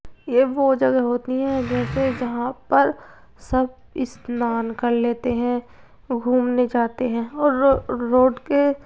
ये वो जगह होती हैं जैसे जहाँं पर सब स्नान कर लेते हैं घूमने जाते हैं और रो-रोड के --